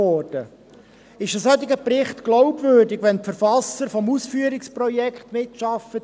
Ist ein solcher Bericht glaubwürdig, wenn die Verfasser des Ausführungsprojekts mitgearbeitet haben?